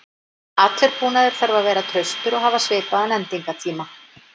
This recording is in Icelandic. Allur búnaður þarf að vera traustur og hafa svipaðan endingartíma.